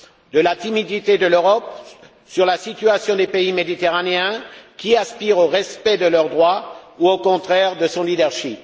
De la timidité de l'Europe sur la situation des pays méditerranéens qui aspirent au respect de leurs droits ou, au contraire, de son leadership?